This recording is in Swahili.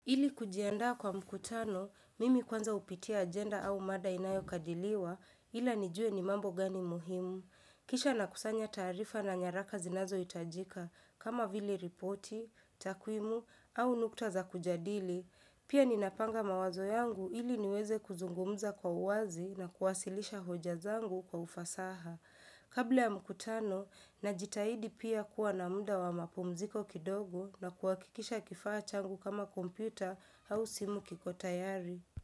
Ili kujiandaa kwa mkutano, mimi kwanza hupitia agenda au mada inayokadiliwa ila nijue ni mambo gani muhimu. Kisha nakusanya taarifa na nyaraka zinazohitajika kama vile ripoti, takwimu au nukta za kujadili. Pia ninapanga mawazo yangu ili niweze kuzungumza kwa uwazi na kuwasilisha hoja zangu kwa ufasaha. Kabla ya mkutano najitahidi pia kuwa na muda wa mapumziko kidogo na kuhakikisha kifaa changu kama kompyuta au simu kiko tayari.